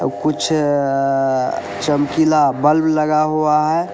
ओ कुछ चमकीला बल्ब लगा हुआ है।